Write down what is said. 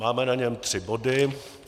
Máme na něm tři body.